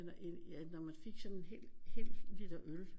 Når man fik sådan en hel liter øl